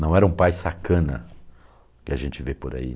Não era um pai sacana que a gente vê por aí.